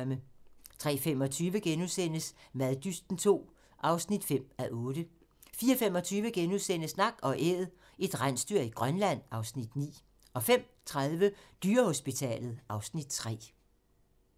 03:25: Maddysten II (5:8)* 04:25: Nak & Æd - et rensdyr i Grønland (Afs. 9)* 05:30: Dyrehospitalet (Afs. 3)